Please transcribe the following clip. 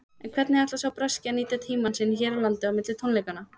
En hvernig ætlar sá breski að nýta tímann sinn hér á landi á milli tónleikanna?